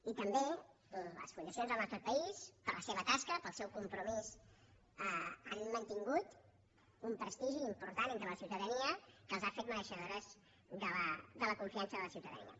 i també les fundacions al nostre país per la seva tas·ca per al seu compromís han mantingut un prestigi important entre la ciutadania que les ha fetes merei·xedores de la confiança de la ciutadania